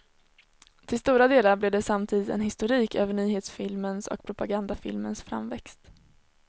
Till stora delar blev det samtidigt en historik över nyhetsfilmens och propagandafilmens framväxt.